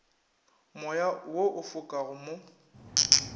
moya wo o fokago mo